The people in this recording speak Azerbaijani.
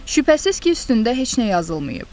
Şübhəsiz ki, üstündə heç nə yazılmayıb.